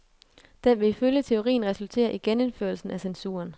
Den vil ifølge teorien resultere i genindførelsen af censuren.